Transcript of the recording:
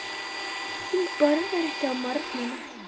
Hún borðar ekki á morgnana.